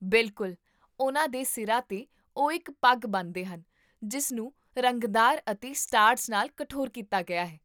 ਬਿਲਕੁਲ! ਉਨ੍ਹਾਂ ਦੇ ਸਿਰਾਂ 'ਤੇ, ਉਹ ਇੱਕ ਪੱਗ ਬੰਨ੍ਹਦੇ ਹਨ ਜਿਸ ਨੂੰ ਰੰਗਦਾਰ ਅਤੇ ਸਟਾਰਚ ਨਾਲ ਕਠੋਰ ਕੀਤਾ ਗਿਆ ਹੈ